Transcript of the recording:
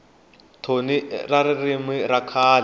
thoni na ririmi ra kahle